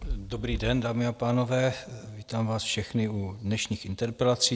Dobrý den, dámy a pánové, vítám vás všechny u dnešních interpelací.